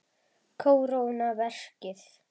Kóróna verkið.